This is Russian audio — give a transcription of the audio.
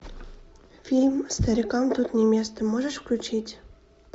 фильм старикам тут не место можешь включить